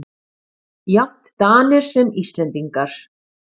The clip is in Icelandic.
Jafnt Danir sem Íslendingar.